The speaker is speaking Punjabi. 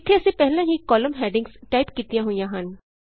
ਇਥੇ ਅਸੀਂ ਪਹਿਲਾਂ ਹੀ ਕਾਲਮ ਹੈਡਿੰਗਸ ਟਾਈਪ ਕੀਤੀਆਂ ਹੋਈਆਂ ਹਨ